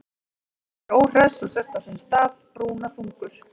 Hann er óhress og sest á sinn stað, brúnaþungur.